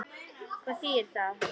Hvað þýðir það?